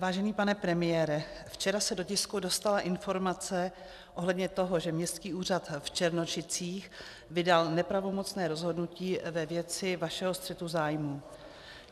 Vážený pane premiére, včera se do tisku dostala informace ohledně toho, že Městský úřad v Černošicích vydal nepravomocné rozhodnutí ve věci vašeho střetu zájmů.